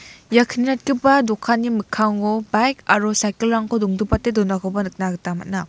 ia kni ratgipa dokanni mikkango baik aro saikil rangko dongdipate donakoba nikna gita man·a.